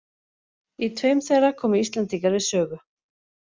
Í tveim þeirra komu íslendingar við sögu.